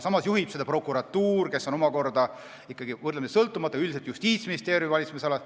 Samas juhib seda prokuratuur, mis on omakorda Justiitsministeeriumi valitsemisalas.